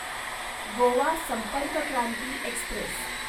Goa Sampark Kranti Express